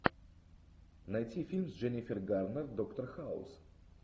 найти фильм с дженнифер гарнер доктор хаус